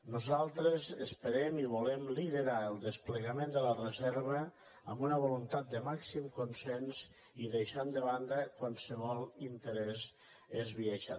nosaltres esperem i volem liderar el desplegament de la reserva amb una voluntat de màxim consens i dei·xant de banda qualsevol interès esbiaixat